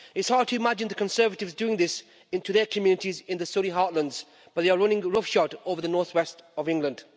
It's hard to imagine the Conservatives doing this in their communities in the Surrey heartlands, but they are running roughshod over the north west of England.